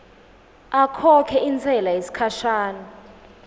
akhokhe intsela yesikhashana